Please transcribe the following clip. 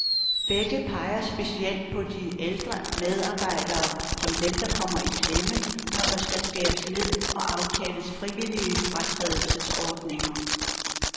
Begge peger specielt på de ældre medarbejdere, som dem, der kommer i klemme, når der skal skæres ned og aftales frivillige fratrædelsesordninger.